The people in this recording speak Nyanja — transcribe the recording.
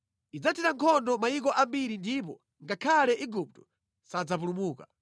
Idzathira nkhondo mayiko ambiri ndipo ngakhale Igupto sadzapulumuka.